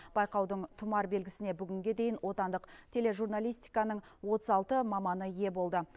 байқаудың тұмар белгісіне бүгінге дейін отандық тележурналистиканың отыз алты маманы ие болды